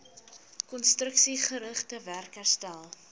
konstruksiegerigte werk herstel